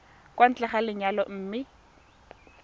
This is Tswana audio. kwa ntle ga lenyalo mme